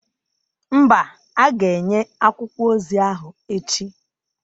Mba, a ga-enye akwụkwọ ozi ahụ echi